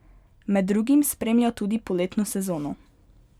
Med drugim spremlja tudi poletno sezono.